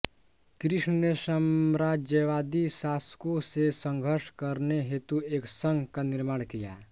कृष्ण ने साम्राज्यवादी शासकों से संघर्ष करने हेतु एक संघ का निर्माण किया